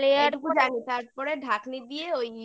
হ্যাঁ layer